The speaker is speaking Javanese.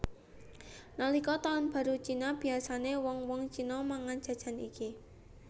Nalika taun baru Cina biyasané wong wong Cina mangan jajan iki